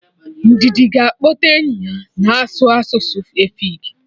Ndidi ga akpọta enyi ya na-asụ asụsụ efik